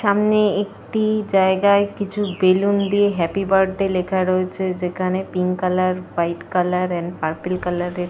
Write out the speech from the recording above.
সামনে একটি জায়গায় কিছু বেলুন দিয়ে হ্যাপি বার্থডে লেখা রয়েছে যেখানে pink colour white colour and purple colour - এর --